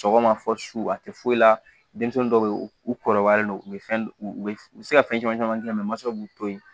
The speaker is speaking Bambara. Sɔgɔma fɔ su a tɛ foyi la denmisɛnnin dɔw bɛ yen u kɔrɔbayalen don u bɛ fɛn u bɛ se ka fɛn caman caman k'a la mɛ mansaw b'u to yen